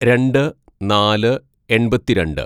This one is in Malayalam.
"രണ്ട് നാല് എണ്‍പത്തിരണ്ട്‌